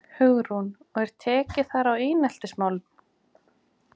Hugrún: Og er tekið þar á eineltismálum?